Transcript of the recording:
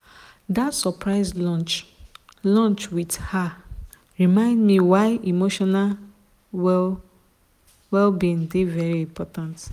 dat surprise lunch lunch with her remind me why emotional well-being dey very important.